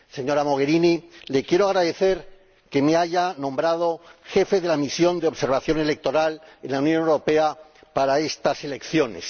Señora Mogherini, le quiero agradecer que me haya nombrado jefe de la Misión de Observación Electoral de la Unión Europea para estas elecciones.